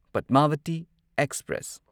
Padmavati express